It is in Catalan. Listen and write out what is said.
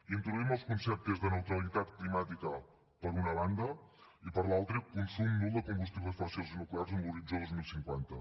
introduïm els conceptes de neutralitat climàtica per una banda i per l’altra consum nul de combustibles fòssils i nuclears amb l’horitzó dos mil cinquanta